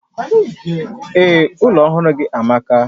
Ee, ụlọ ọhụrụ gị amaka